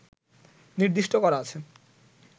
নির্দিষ্ট করা আছে